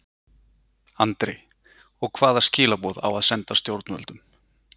Andri: Og hvaða skilaboð á að senda stjórnvöldum?